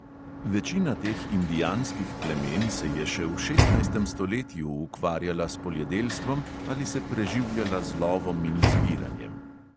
Večina teh indijanskih plemen se je še v šestnajstem stoletju ukvarjala s poljedelstvom ali se preživljala z lovom in zbiranjem.